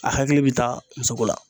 A hakili bɛ taa musoko la.